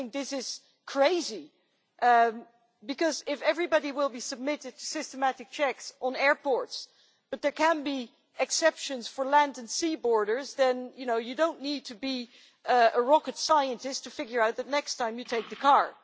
I think this is crazy, because if everybody is submitted to systematic checks at airports, but there can be exceptions for land and sea borders, then you do not need to be a rocket scientist to figure out that, next time, you take the car.